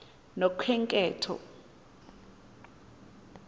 nokhenketho